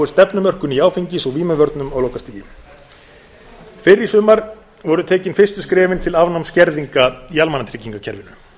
stefnumörkun í áfengis og vímuvörnum á lokastigi fyrr í sumar voru tekin fyrstu skrefin til afnáms skerðinga í almannatryggingakerfinu